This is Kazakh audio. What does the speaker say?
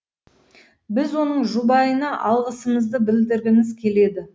біз оның жұбайына алғысымызды білдіргіміз келеді